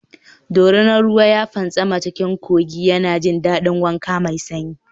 Doria ruwa ya fantsama cikin kogi yana jin daɗin wanka mai sanyi.